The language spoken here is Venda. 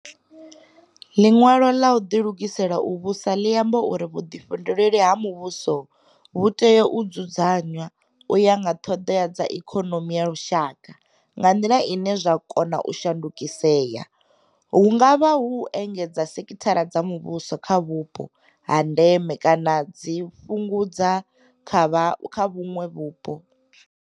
Ḽiṅwalo ḽa u ḓilugisela u Vhusa ḽi amba uri vhuḓifhinduleli ha muvhuso vhu tea u dzu dzanywa u ya nga ṱhoḓea dza ikonomi ya lushaka nga nḓila ine zwa kona u shandukisea, hu nga vha u engedza sekithara dza muvhuso kha vhupo ha ndeme kana u dzi fhu ngudza kha vhuṅwe vhupo.